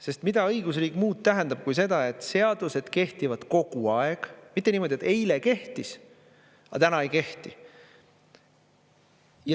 Sest mida õigusriik muud tähendab kui seda, et seadused kehtivad kogu aeg, mitte niimoodi, et eile kehtis, aga täna ei kehti.